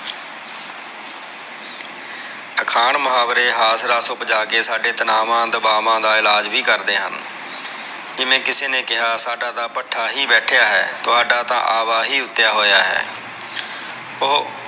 ਅਖਾਣ ਮੁਹਾਵਰੇ ਉਪਜਾਕੇ ਸਾਡੇ ਤਨਾਵਾਂ ਦਬਾਵਾਂ ਦਾ ਇਲਾਜ ਵੀ ਕਰਦੇ ਹਨ ਜਿਵੇਂ ਕਿਸੇ ਨੇ ਕਿਹਾ ਸਾਡਾ ਤਾਂ ਭੱਠਾ ਹੀ ਬੈਠੀਆ ਹੈ, ਤੁਹਾਡਾ ਤਾਂ ਆਵਹਿ ਉਤਯਾ ਹੈ ਉਹ